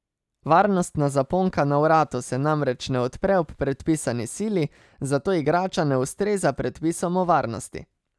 Varnostna zaponka na vratu se namreč ne odpre ob predpisani sili, zato igrača ne ustreza predpisom o varnosti.